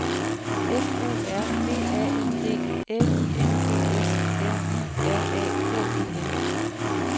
F O R V A N D L I N G S M I R A K E L